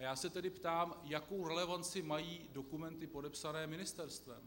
A já se tedy ptám, jakou relevanci mají dokumenty podepsané ministerstvem?